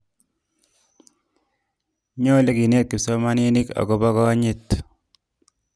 nyoluu kenet kipsomaninik akobo konyit